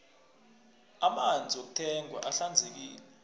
amanzi wokuthengwa ahlanzekile